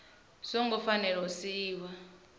zwo ngo fanela u siiwa